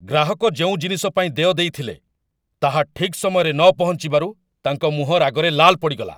ଗ୍ରାହକ ଯେଉଁ ଜିନିଷ ପାଇଁ ଦେୟ ଦେଇଥିଲେ, ତାହା ଠିକ୍ ସମୟରେ ନପହଞ୍ଚିବାରୁ ତାଙ୍କ ମୁହଁ ରାଗରେ ଲାଲ୍ ପଡ଼ିଗଲା।